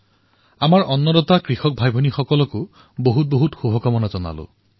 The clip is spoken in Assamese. আমাৰ অন্নদাতা কৃষক ভাইভনীসকলো অশেষ শুভকামনা যাচিছোঁ